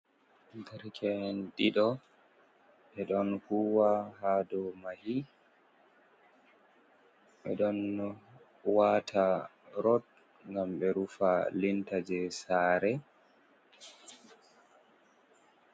Dereke'en ɗiɗo ɓe ɗon huwa haa dow mahi ɓe ɗon waata rod ngam ɓe rufa linta jey saare.